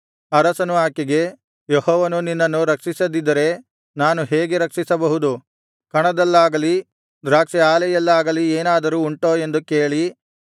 ಅರಸನು ಆಕೆಗೆ ಯೆಹೋವನು ನಿನ್ನನ್ನು ರಕ್ಷಿಸದಿದ್ದರೆ ನಾನು ಹೇಗೆ ರಕ್ಷಿಸಬಹುದು ಕಣದಲ್ಲಾಗಲಿ ದ್ರಾಕ್ಷಿ ಆಲೆಯಲ್ಲಾಗಲಿ ಏನಾದರೂ ಉಂಟೋ ಎಂದು ಕೇಳಿ